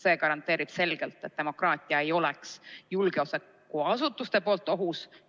See garanteerib selgelt, et demokraatia ei ole julgeolekuasutuste poolt ohus.